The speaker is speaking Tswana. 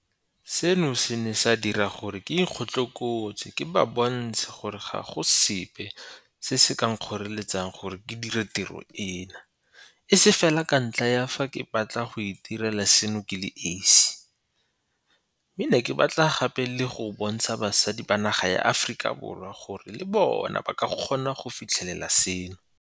Seno se ne sa dira gore ke ikgotlokotse ke ba bontshe gore ga go sepe se se ka nkgoreletsang gore ke dire tiro eno, e se fela ka ntlha ya fa ke batla go itirela seno ke le esi, mme ke ne ke batla gape le go bontsha basadi ba naga ya Aforika Borwa gore le bona ba ka kgona go fitlhelela seno.